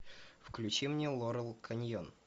включи мне лорел каньон